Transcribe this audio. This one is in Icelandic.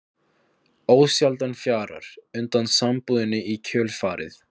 Ósjaldan fjarar undan sambúðinni í kjölfarið.